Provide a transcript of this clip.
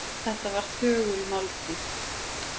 Þetta var þögul máltíð.